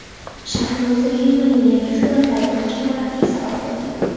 Shahlo Zoirovaning yangi suratlari muhokamalarga sabab bo‘ldi.